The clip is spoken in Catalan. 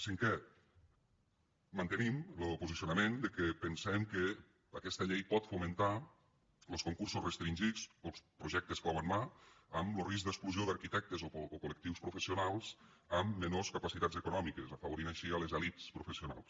cinquè mantenim lo posicionament de que pensem que aquesta llei pot fomentar los concursos restringits per als projectes clau en mà amb lo risc d’exclusió d’arquitectes o col·lectius professionals amb menors capacitats econòmiques afavorint així les elits professionals